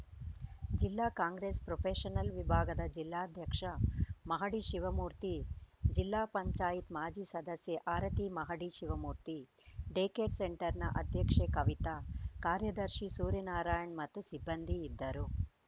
ಜಿಲ್ಲಾ ಕಾಂಗ್ರೆಸ್‌ ಪ್ರೊಫೆಷನಲ್‌ ವಿಭಾಗದ ಜಿಲ್ಲಾಧ್ಯಕ್ಷ ಮಹಡಿ ಶಿವಮೂರ್ತಿ ಜಿಲ್ಲಾ ಪಂಚಾಯತ್ ಮಾಜಿ ಸದಸ್ಯೆ ಆರತಿ ಮಹಡಿ ಶಿವಮೂರ್ತಿ ಡೇಕೇರ್‌ ಸೆಂಟರ್‌ನ ಅಧ್ಯಕ್ಷೆ ಕವಿತ ಕಾರ್ಯದರ್ಶಿ ಸೂರ್ಯನಾರಾಯಣ್‌ ಮತ್ತು ಸಿಬ್ಬಂದಿ ಇದ್ದರು